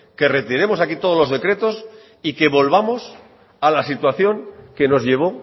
que retiremos aquí todos los decretos y que volvamos a la situación que nos llevó